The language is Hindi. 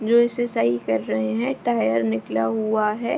जो इसे सही कर रहें है टायर निकला हुआ है।